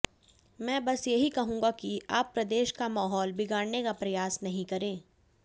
मैं बस यही कहूंगा कि आप प्रदेश का माहौल बिगाडने का प्रयास नहीं करें